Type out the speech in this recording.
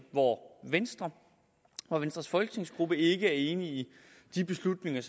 hvor venstre og venstres folketingsgruppe ikke er enig i de beslutninger